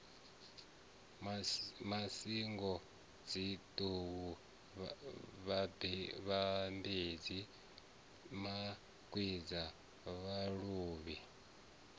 masingo dzinḓou vhambedzi makwinda vhaluvhu